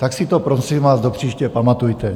Tak si to, prosím vás, do příště pamatujte.